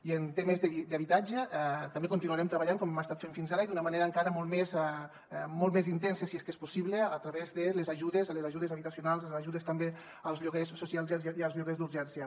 i en temes d’habitatge també continuarem treballant com hem estat fent fins ara i d’una manera encara molt més intensa si és que és possible a través de les ajudes de les ajudes habitacionals de les ajudes també als lloguers socials i als lloguers d’urgència